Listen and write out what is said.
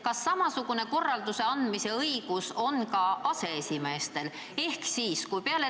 Kas samasugune korralduse andmise õigus on ka aseesimeestel?